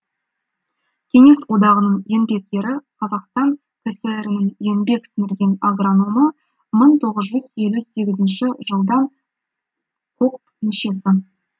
кеңес одағының еңбек ері қазақстан кср нің еңбек сіңірген агрономы мың тоғыз жүз елу сегізінші жылдан кокп мүшесі